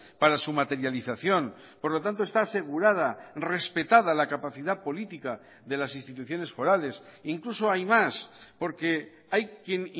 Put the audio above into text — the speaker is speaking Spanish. para su materialización por lo tanto está asegurada respetada la capacidad política de las instituciones forales incluso hay más porque hay quien